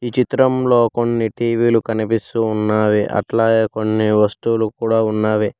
ఈ చిత్రం లో కొన్ని టీ వీ లు కనిపిస్తూ ఉన్నావి అట్లాగే కొన్ని వస్తువులు కూడా ఉన్నవి.